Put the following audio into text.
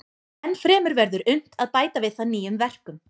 Ennfremur verður unnt að bæta við það nýjum verkum.